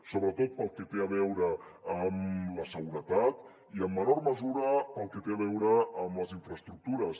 sobretot pel que té a veure amb la seguretat i en menor mesura pel que té a veure amb les infraestructures